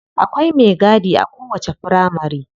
Akwai me gadi a kowacce firamari.